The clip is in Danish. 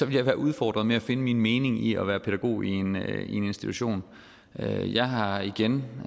jeg være udfordret med at finde min mening i at være pædagog i en institution jeg jeg har igen